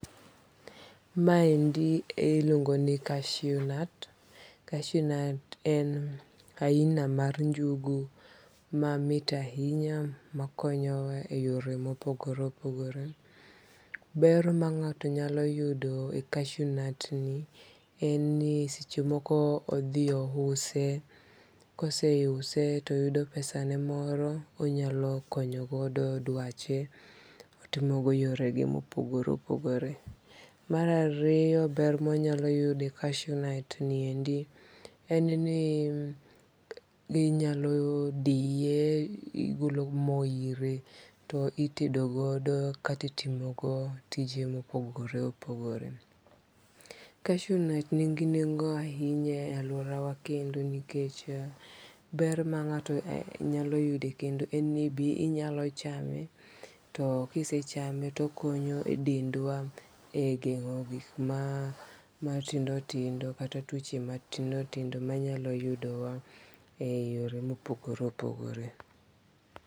Maendi iluongo ni cashew nut, cashew nut en aina mar njugu mamit ahinya ma konyowa e yore ma opogore opogore, ber ma nga'to nyaloo yudo e cashew nut ni en ni sechemoko odhio use kose use to uyudo pesane moro onyalo konyogo dwache, otimogo yorege ma opogore opogore. Mar ariyo ber ma wanyalo yudo e cashew nut ni endi en ni inyalo diye igologo mo ire to itedo godo kata itimo godo tich mopogore opogore. Cashew nut nigi nengo ahinya e aluora kendo nikech ber ma nga'to nyalo yudo en ni be inyalo chame to kisechame to okonyo e dendwa e gengo' gik matindo tindo kata twoche matindo tindo manyalo yudowa e yore mopogore opogore